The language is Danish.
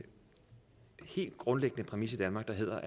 helt grundlæggende præmis i danmark der